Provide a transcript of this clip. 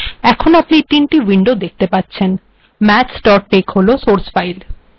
mathstex হল source file